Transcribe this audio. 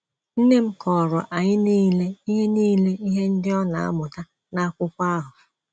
Nne m kọọrọ anyị nile ihe nile ihe ndị ọ na - amụta na akwụkwọ ahụ.